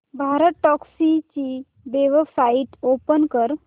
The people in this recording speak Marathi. भारतटॅक्सी ची वेबसाइट ओपन कर